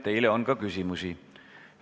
Teile on ka küsimusi.